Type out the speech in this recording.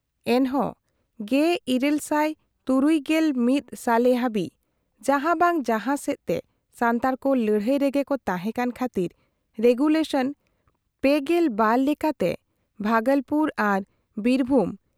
ᱮᱱᱦᱚᱸ 1861 ᱥᱟᱞᱮ ᱦᱟᱹᱵᱤᱡ ᱡᱟᱦᱟᱸ ᱵᱟᱝ ᱡᱟᱦᱟᱸ ᱥᱮᱫ ᱛᱮ ᱥᱟᱱᱛᱟᱲ ᱠᱚ ᱞᱟᱹᱲᱦᱟᱹᱭ ᱨᱮᱜᱮ ᱠᱚ ᱛᱟᱦᱮᱸ ᱠᱟᱱ ᱠᱷᱟᱛᱤᱨ ᱨᱮᱜᱩᱞᱮᱥᱚᱱ ᱓᱒ ᱞᱮᱠᱟᱛᱮ ᱵᱦᱟᱜᱚᱞᱯᱩᱨ ᱟᱨ ᱵᱤᱨᱵᱷᱩᱢ